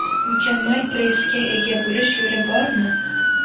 Mukammal pressga ega bo‘lish yo‘li bormi?.